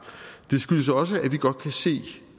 det skyldes også at vi godt kan se